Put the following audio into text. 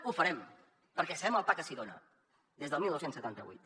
ho farem perquè sabem el pa que s’hi dona des del dinou setanta vuit